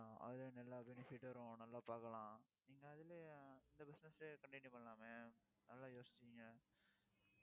ஆஹ் அதுல, நல்லா benefit வரும். நல்லா பாக்கலாம். நீங்க, அதுலயும் இந்த business continue பண்ணலாமே நல்லா யோசிச்சீங்க